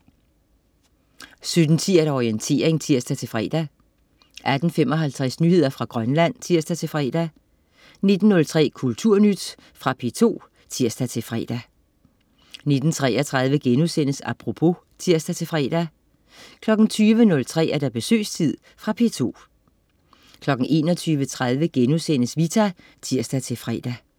17.10 Orientering (tirs-fre) 18.55 Nyheder fra Grønland (tirs-fre) 19.03 Kulturnyt. Fra P2 (tirs-fre) 19.33 Apropos* (tirs-fre) 20.03 Besøgstid. Fra P2 21.30 Vita* (tirs-fre)